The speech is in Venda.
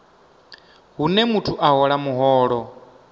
hune muthu a hola muholo